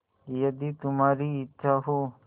यदि तुम्हारी इच्छा हो